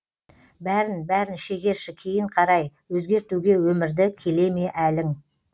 бәрін бәрін шегерші кейін қарай өзгертуге өмірді келе ме әлің